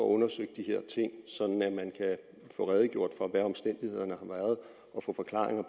undersøgt de her ting sådan at man kan få redegjort for hvad omstændighederne